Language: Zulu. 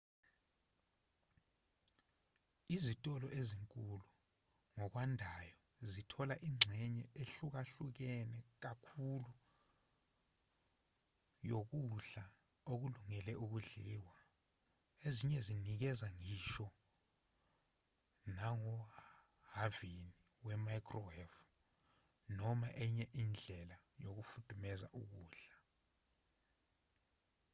izitolo ezinkulu ngokwandayo zithola ingxenye ehlukahlukene kakhulu yokudla okulungele ukudliwa ezinye zinikeza ngisho nangohhavini we-microwave noma enye indlela yokufudumeza ukudla